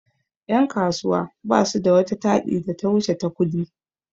Yan' kasuwa basu da wata taɗi da ta wuce ta ƙudi.